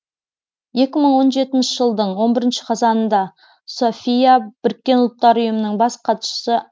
екі мың он жетінші жылдың он бірінші қазанында софия біріккен ұлттар ұйымының бас хатшысы